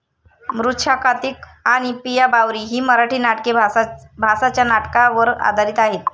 मृछाकातिक आणि पिया बावरी ही मराठी नाटके भासाच्या नाटका वर आधारित आहेत.